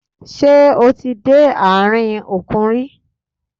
Ṣé o ti dé àárín òkun rí?